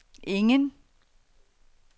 ingen